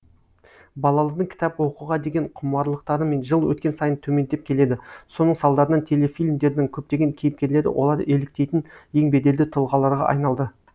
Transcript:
балалдың кітап оқуға деген құмарлықтары жыл өткен сайын төмендеп келеді соның салдарынан телефильмдердің көптеген кейіпкерлері олар еліктейтін ең беделді тұлғаларға айналды